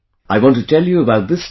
I want to tell you about this too